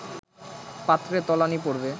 পাত্রে তলানী পড়বে